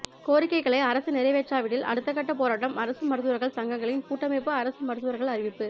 கோரிக்கைகளை அரசு நிறைவேற்றாவிடில் அடுத்தக்கட்ட போராட்டம் அரசு மருத்துவா்கள் சங்கங்களின் கூட்டமைப்பு அரசு மருத்துவா்கள் அறிவிப்பு